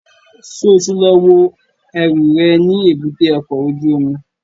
Ṣo ti lọ wo ẹrù rẹ̀ ní èbúté ọkọ̀ ojú omi?